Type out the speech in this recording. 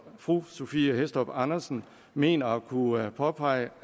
fru sophie hæstorp andersen mener at kunne påpege